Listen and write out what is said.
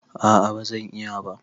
A'a ba zan iya ba.